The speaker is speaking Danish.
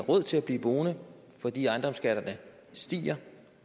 råd til at blive boende fordi ejendomsskatterne stiger